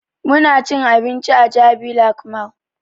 Muna cin abinci a jabi lake mall